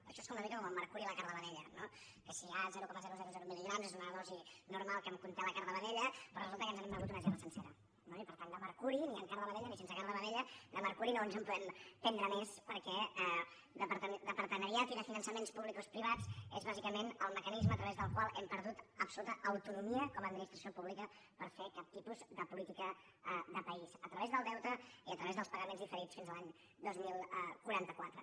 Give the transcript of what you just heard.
això és una mica com el mercuri i la carn de vedella no que si hi ha zero coma zero mil·ligrams és una dosi normal que conté la carn de vedella però resulta que ens n’hem begut una gerra sencera no i per tant de mercuri ni amb carn de vedella ni sense carn de vedella de mercuri no ens en podem prendre més perquè de partenariats i de finançaments publicoprivats és bàsicament el mecanisme a través del qual hem perdut absoluta autonomia com a administració pública per fer cap tipus de política de país a través del deute i a través dels pagaments diferits fins l’any dos mil quaranta quatre